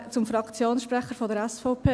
Dann zum Fraktionssprecher der SVP.